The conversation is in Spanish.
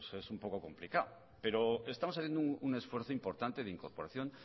pues es un poco complicado pero estamos haciendo un esfuerzo importante de incorporación